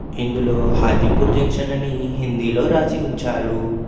ఇందులో హాజీపూర్ జంక్షన్ అని హిందీలో రాసి ఉంచారు.